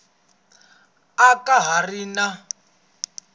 a ka ha ri na